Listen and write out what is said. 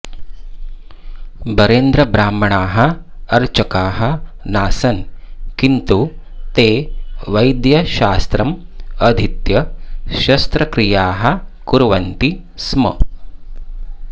बरेन्द्रब्राह्मणाः अर्चकाः नासन् किन्तु ते वैद्यशास्त्रम् अधीत्य शस्त्रक्रियाः कुर्वन्ति स्म